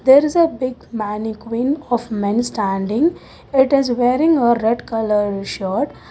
There is a big mannequin of men standing it is wearing a red colour shirt.